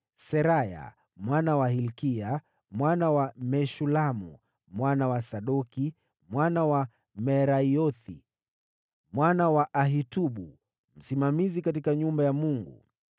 Seraya mwana wa Hilkia, mwana wa Meshulamu, mwana wa Sadoki, mwana wa Merayothi, mwana wa Ahitubu, msimamizi katika nyumba ya Mungu,